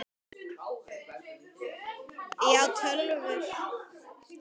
Maggý, spilaðu lag.